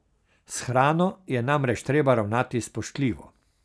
S hrano je namreč treba ravnati spoštljivo.